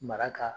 Mara ka